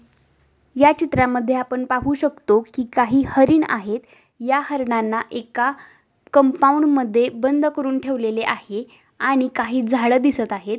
या चित्रा मध्ये आपण पाहू शकतो कि काही हरीण आहेत. या हरिणांना एका कंपाऊंड मध्ये बंद करून ठेवलेले आहे. आणि काही झाड दिसत आहेत.